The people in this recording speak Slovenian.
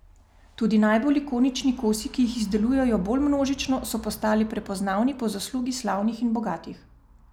Tudi najbolj ikonični kosi, ki jih izdelujejo bolj množično, so postali prepoznavni po zaslugi slavnih in bogatih.